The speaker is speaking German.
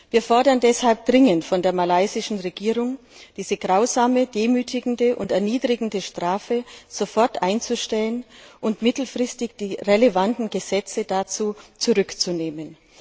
Wir fordern deshalb dringend von der malaysischen Regierung, diese grausame, demütigende und erniedrigende Strafe sofort einzustellen und mittelfristig die einschlägigen Gesetze dazu zurückzunehmen.